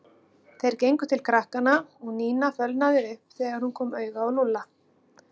Þeir gengu til krakkanna og Nína fölnaði upp þegar hún kom auga á Lúlla.